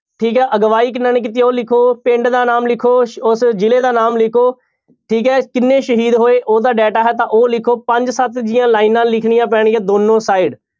ਠੀਕ ਹੈ ਅਗਵਾਈ ਕਿਹਨਾਂ ਨੇ ਕੀਤੀ ਉਹ ਲਿਖੋ, ਪਿੰਡ ਦਾ ਨਾਮ ਲਿਖੋ, ਸ~ ਉਸ ਜ਼ਿਲ੍ਹੇ ਦਾ ਨਾਮ ਲਿਖੋ ਠੀਕ ਹੈ ਕਿੰਨੇ ਸ਼ਹੀਦ ਹੋਏ ਉਹਦਾ data ਹੈ ਤਾਂ ਉਹ ਲਿਖੋ ਪੰਜ ਸੱਤ ਜਿਹੀਆਂ ਲਾਇਨਾਂ ਲਿਖਣੀਆਂ ਪੈਣਗੀਆਂ ਦੋਨੋਂ side